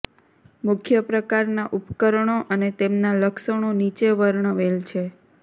મુખ્ય પ્રકારનાં ઉપકરણો અને તેમના લક્ષણો નીચે વર્ણવેલ છે